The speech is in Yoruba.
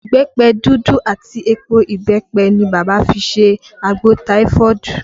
Ìbẹ́pẹ dúdú àti èpò ìbẹ́pẹ ni bàbá fi ṣe àgbò taifoodu